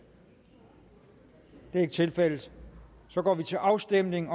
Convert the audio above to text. det er ikke tilfældet så går vi til afstemning